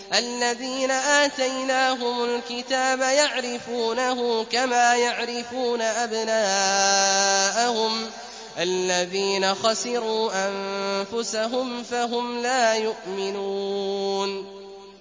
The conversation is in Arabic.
الَّذِينَ آتَيْنَاهُمُ الْكِتَابَ يَعْرِفُونَهُ كَمَا يَعْرِفُونَ أَبْنَاءَهُمُ ۘ الَّذِينَ خَسِرُوا أَنفُسَهُمْ فَهُمْ لَا يُؤْمِنُونَ